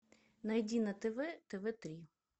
найди на тв тв три